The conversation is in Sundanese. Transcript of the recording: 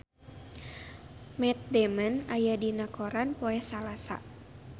Matt Damon aya dina koran poe Salasa